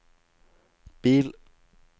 bil